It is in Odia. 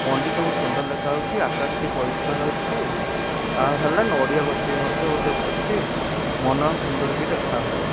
ମନ୍ଦିର ଟି ବହୁତ ସୁନ୍ଦର ଦେଖା ହଉଚି ଆକାଶ ଟି ପରିଷ୍କାର ଅଛି ଆ ହେଲେ ନଡ଼ିଆ ଗଛ ବି ମଧ୍ୟ ଅଛି ମନ ସୁନ୍ଦର ବି ଦେଖା ହଉଚି।